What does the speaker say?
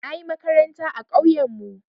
Na yi makaranta a ƙauyenmu.